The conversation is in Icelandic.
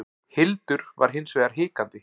Hildur var hins vegar hikandi.